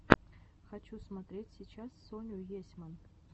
хочу смотреть сейчас соню есьман